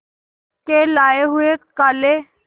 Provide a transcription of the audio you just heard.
के लाए हुए काले